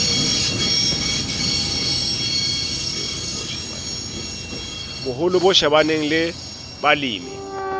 boholo bo shebaneng le balemi